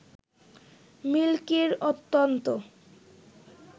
মিল্কির অত্যন্ত